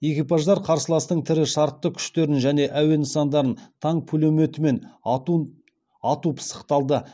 экипаждар қарсыластың тірі шартты күштерін және әуе нысандарын танк пулеметімен ату пысықталды